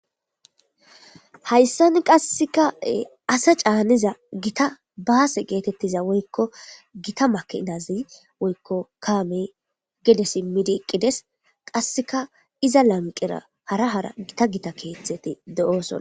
Hayssan qasseka asa caaniza gita baase geetettiza woykko gita makidazi woykko kaamey gede simidi eqides qasseka iza lanqera hara hara gita gita keetheti de'sona.